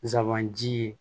Zanbanji ye